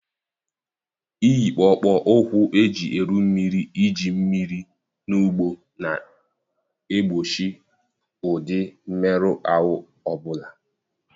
Iyi kpụkpọ ụkwụ eji eru mmiri Iji mmiri na ugbo ga-egbochi ụdị mmerụ ahụ ọ bụla.